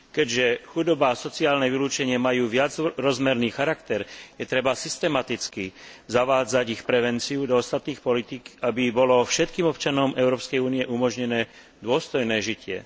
Keďže chudoba a sociálne vylúčenie majú viacrozmerný charakter, treba systematicky zavádzať ich prevenciu do ostatných politík, aby bolo všetkým občanom Európskej únie umožnené dôstojné žitie.